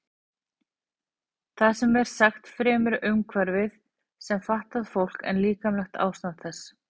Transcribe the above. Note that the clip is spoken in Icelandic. Það er sem sagt fremur umhverfið sem fatlar fólk en líkamlegt ástand þess.